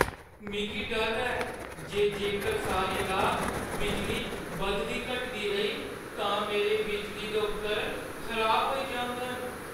मिगी डर ऐ जे जेकर सारी रात बिजली बधदी-घटदी रेही तां मेरे बिजली दे उपकरण खराब होई जाङन।